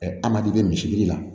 amadu bɛ misi biri la